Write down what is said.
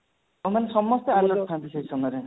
ସେମାନେ ସମସ୍ତେ alert ଥାଆନ୍ତି ସେଇ ସମୟରେ